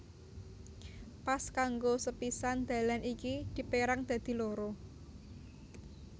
Pas kanggo sapisan dalan iki dipérang dadi loro